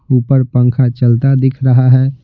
ऊपर पंखा चलता दिख रहा है।